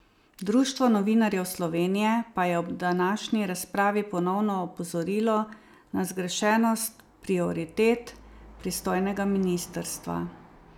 Društvo novinarjev Slovenije pa je ob današnji razpravi ponovno opozorilo na zgrešenost prioritet pristojnega ministrstva.